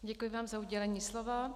Děkuji vám za udělení slova.